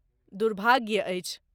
दुर्भाग्य अछि।